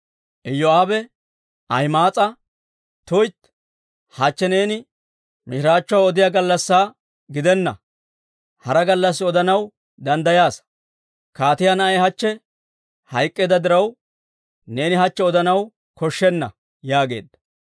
Iyoo'aabe Ahima'aas'a, «tuytti! Hachche neeni mishiraachchuwaa odiyaa gallassaa gidenna; hara gallassi odanaw danddayaasa. Kaatiyaa na'ay hachche hayk'k'eedda diraw, neeni hachche odanaw koshshenna» yaageedda.